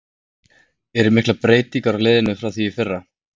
Eru miklar breytingar á liðinu frá því í fyrra?